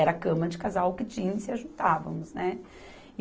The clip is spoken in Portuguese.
Era cama de casal que tínhamos e nos juntávamos, né?